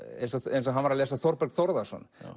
eins eins og hann var að lesa Þórberg Þórðarson